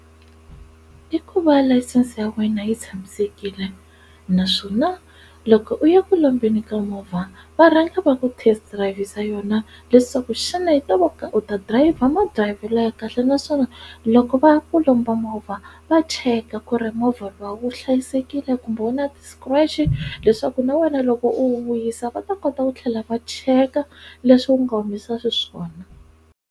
I ku va layisense ya wena yi tshamisekile naswona loko u ya ku lombeni ka movha va rhanga va ku test dirayivhisa yona leswaku xana yi to vo ka u ta dirayivha madirayivhelo ya kahle naswona loko va ku lomba movha va cheka ku ri movha lowu wu hlayisekile kumbe wu na ti-scratch leswaku na wena loko u wu vuyisa va ta kota ku tlhela va cheka leswi wu nga humisa xiswona.